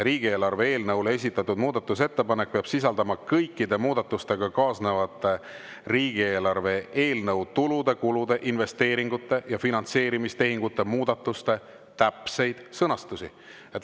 Riigieelarve eelnõule esitatud muudatusettepanek peab sisaldama kõikide muudatusega kaasnevate riigieelarve eelnõu tulude, kulude, investeeringute ja finantseerimistehingute muudatuste täpseid sõnastusi.